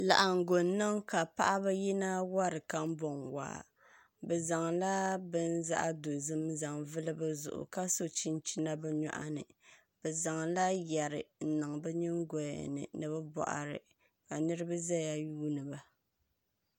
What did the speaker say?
Laɣangu n niŋ ka paɣaba yina wori kanbɔŋ waa bi zaŋla bini zaɣ dozim n zaŋ n vuli bi zuɣu ka so chinchina bi nyoɣani bi zaŋla yɛri n niŋ bi nyingɔya ni ni bi boɣari ka niraba ʒɛya n yuundiba